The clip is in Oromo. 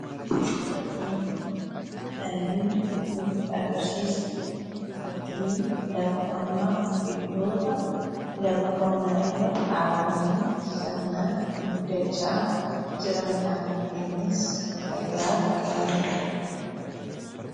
Fakkiin kun kan inni nutti agarsiisu fakkii lafa qonnaa fi biqiloota lafa qonnaa irra dhaabamanii sirnaan guddachaa jirani dha. Innis fayyaaf gaarii dha.